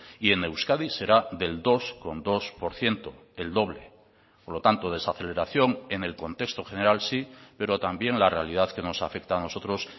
y en euskadi será del dos coma dos por ciento el doble por lo tanto desaceleración en el contexto general sí pero también la realidad que nos afecta a nosotros